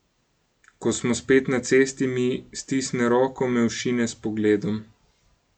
Ko smo spet na cesti, mi stisne roko, me ošine s pogledom.